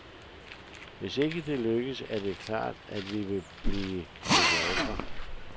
Hvis ikke det lykkes, er det klart, at vi vil blive konkurrenter.